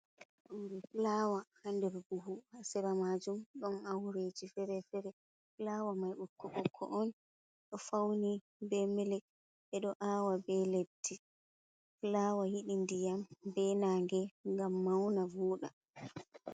Ndaa fulaawa haa ndere buhu, haa sera maajum ɗono aureeji feere-feere, fulaawa mai ɓokko-ɓokko on, ɗo fawni bee mili kolo ɓe ɗo aawa bee leddi. fulaawa yiɗi ndiyam bee naange ngam mawna vooɗa.